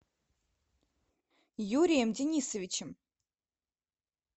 юрием денисовичем